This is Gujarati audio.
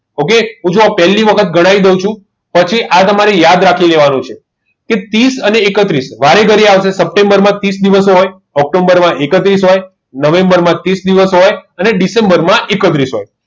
okay હું પેલી વખત ગણાય દવ છું પછી આ તમને યાદ રાખી કેવનું છે કે ત્રીસ અને એકત્રીસ વારે ઘડિયા આવસે સેપેટ્મ્બર માં ત્રીસ દિવસો હોય ઓક્ટોમ્બર માં એકત્રીસ હોય નવેમ્બર માં ત્રીસ દિવસ હોય અને દિસેમ્બર માં એકત્રીસ દિવસ હોય